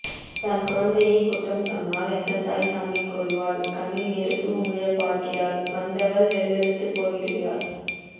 தன்குழந்தையை குற்றம் சொன்னால் எந்தத்தாய் தாங்கிக்கொள்வாள் கண்ணில் நெருப்பு உமிழப்பார்க்கிறாள் வந்தவள் வெலவெலத்துப்போய்விடுகிறாள்